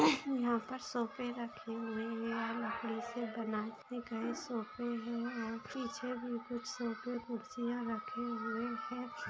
यहां पर सोफे रखे हुए हैंलाल कलर से बनाए गए सोफे है और पीछे भी कुछ सोफे कुर्सियां रखे हुए है।